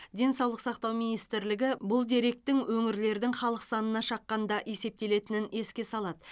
денсаулық сақтау министрлігі бұл деректің өңірлердің халық санына шаққанда есептелетінін еске салады